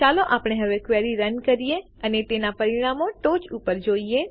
ચાલો આપણે હવે ક્વેરી રન કરીએ અને તેનાં પરિણામોને ઉપર ટોંચ પર જોઈએ